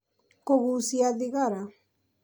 kũgucia thigara